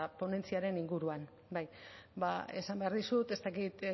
ponentziaren inguruan bai esan behar dizut ez dakit